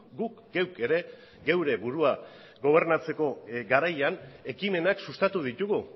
guk geuk ere geure burua gobernatzeko garaian ekimenak sustatu ditugu